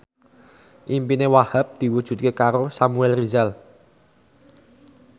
impine Wahhab diwujudke karo Samuel Rizal